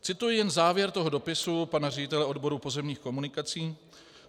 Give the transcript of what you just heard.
Cituji jen závěr toho dopisu pana ředitele odboru pozemních komunikací: